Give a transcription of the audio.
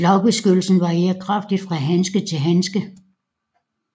Slagbeskyttelsen varierer kraftigt fra handske til handske